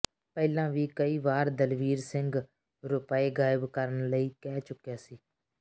ਪਹਿਲਾਂ ਵੀ ਕਈ ਵਾਰ ਦਲਵੀਰ ਸਿੰਘ ਰੁਪਏ ਗਾਇਬ ਕਰਨ ਲਈ ਕਹਿ ਚੁੱਕਿਆ ਸੀ